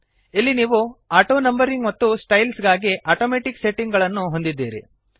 ಇಲ್ಲಿ ನೀವು ಆಟೋನಂಬರಿಂಗ್ ಮತ್ತು ಸ್ಟೈಲ್ಸ್ ಗಾಗಿ ಅಟೊಮೆಟಿಕ್ ಸೆಟ್ಟಿಂಗ್ ಅನ್ನು ಹೊಂದಿದ್ದೀರಿ